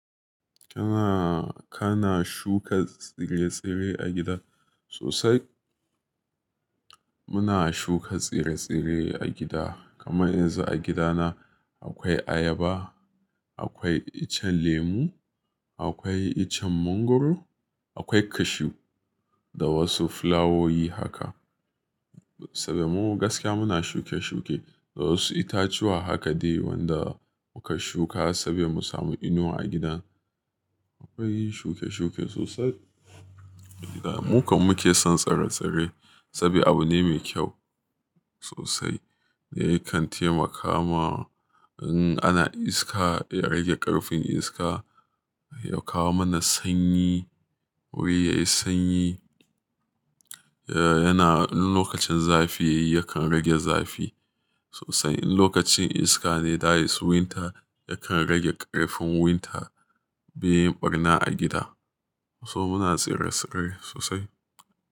Kana, kana shuka tsire-tsire a gida sosai? Muna shuka tsire-tsire a gida, kamar yanzu a gida na akwai ayaba, akwai icen lemu, akwai icen mangwaro, akwai cashew da wasu fulawowi haka. Saboda mu gaskiya muna shuke-shuke da wasu itatuwa haka dai wanda muka shuka saboda mu samu inuwa a gidan. Akwai shuke-shuke sosai. Mu kam muke son tsire-tsire saboda abu ne mai kyau sosai. Yakan taimaka ma in ana iska ya rage ƙarfin iska, ya kawo mana sanyi, wuri yayi sanyi. Eh, yana, in lokacin zafi yayi yakan rage zafi sosai. In lokacin iska ne that is winter, yakan rage ƙarfin winter beyin ɓarna a gida. To muna tsire-tsire sosai.